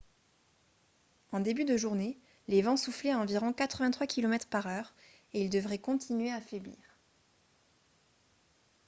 en début de journée les vents soufflaient à environ 83 km/h et ils devraient continuer à faiblir